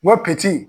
Mopti